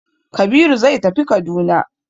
Kabiru zai tafi Kaduna.